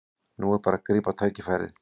Nú er bara að grípa tækifærið